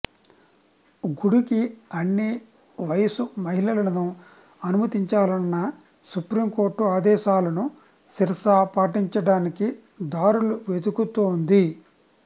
గుడికి అన్ని వయసు మహిళలను అనుమతించాలన్న సుప్రీం కోర్టు ఆదేశాలను శిరసా పాటించడానికి దారులు వెతుకుతోంది